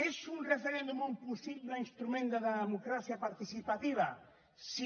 és un referèndum un possible instrument de democràcia participativa sí